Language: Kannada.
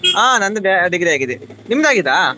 ಹಾ ನಂದು degree ಆಗಿದೆ ನಿಮ್ದು ಆಗಿದಾ?